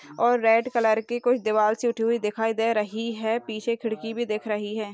और red colour की कोई दीवाल सी उठी हुई दिखाई दे रही है पीछे खिड़की भी दिख रही है।